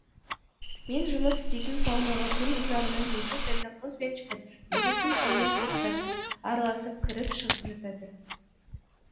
мен жұмыс істейтін саунаға күн ұзағына неше түрлі қыз бен жігіт еркек пен әйел топтасып араласып кіріп шығып жатады